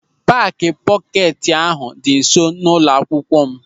Paaki pọketi ahụ dị nsọ n'ụlọ akwụkwọ m.